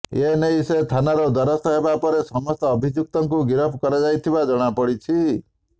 ଏ ନେଇ ସେ ଥାନାର ଦ୍ୱାରସ୍ଥ ହେବା ପରେ ସମସ୍ତ ଅଭିଯୁକ୍ତକୁ ଗିରଫ କରାଯାଇଥିବା ଜଣାପଡ଼ିଛି